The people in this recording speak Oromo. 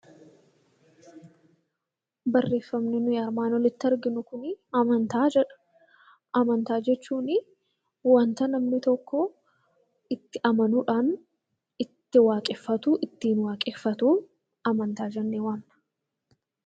Barreeffamni nuyi armaan olitti arginu kuni 'Amantaa' jedha. Amantaa jechuuni wanta namni tokko itti amanuu dhaani, itti waaqeffatu, ittiin waaqeffatu 'Amantaa' jennee waamna.